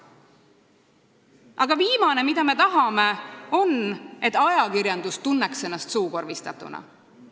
Aga viimane, mida me tahame, on see, et ajakirjandus tunneks ennast suukorvistatuna.